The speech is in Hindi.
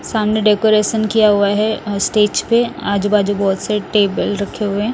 सामने डेकोरेशन किया हुआ है स्टेज पे आजू बाजू बहोत से टेबल रखे हुए हैं।